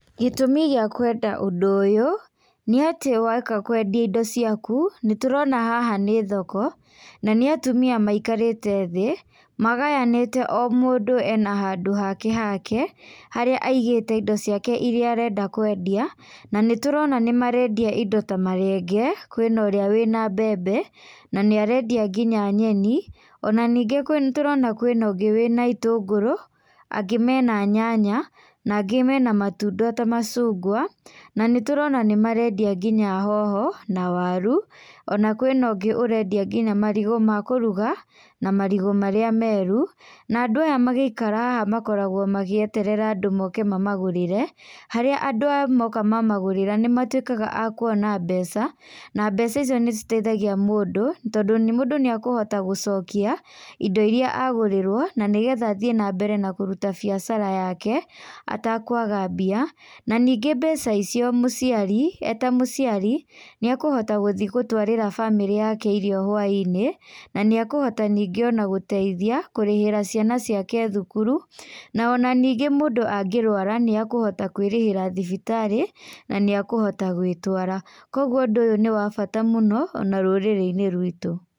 Gĩtũmi gĩa kwenda ũndũ ũyũ, nĩ atĩ woka kwendia indo ciaku nĩ tũrona haha nĩ thoko, na nĩ atumia maikarĩte thĩ magayanĩte o mũndũ ena handũ hake hake, harĩa aigĩte indo ciake irĩa arenda kwendia na nĩtũrona nĩmarendia indo ta marenge, kwĩna ũrĩa wĩ na mbembe na nĩarendia nginya nyeni, ona ningĩ nĩtũrona kwĩ na ũngĩ wĩ na itũngũrũ, angĩ mena nyanya, na angĩ mena matunda ta macungwa. Na nĩ tũrona nĩ marendia nginya hoho na waru ona kwĩna ũngĩ ũrendia nginya marigũ ma kũruga na marigũ marĩa meru. Na andũ aya magĩikara haha makoragwo magĩeterera andũ moke mamagũrĩre, harĩa andũ andũ aya moka mamagũrĩra nĩ matuĩkaga akuona mbeca na mbeca icio nĩ citeithagia mũndũ tondũ mũndũ nĩ ekũhota gũcokia indo irĩa agũrĩrwo na nĩgetha athiĩ na mbere na kũruta biacara yake ata kwaga mbia. Na ningĩ mbeca icio mũciari, eta mũciari nĩekũhota gũthiĩ gũtwarĩra bamĩrĩ yake irio hwa-inĩ nanĩekũhota ningĩ o na gũteithia kũrĩhĩra ciana ciake thukuru, na ona ningĩ mũndũ angĩrũara nĩ ekũhota kwĩrĩhĩra thibitarĩ na nĩe kũhota gwĩtwara, koguo ũndũ ũyũ nĩ wa bata mũno ona rũrĩrĩ-inĩ rwĩtũ.